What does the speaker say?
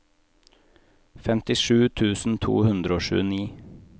femtisju tusen to hundre og tjueni